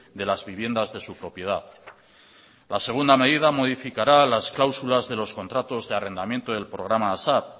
de las viviendas de su propiedad la segunda medida modificará las cláusulas de los contratos de arrendamiento del programa asap